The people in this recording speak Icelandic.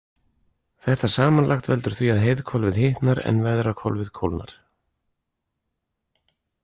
Þetta samanlagt veldur því að heiðhvolfið hitnar en veðrahvolfið kólnar.